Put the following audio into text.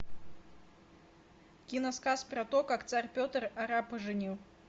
кино сказ про то как царь петр арапа женил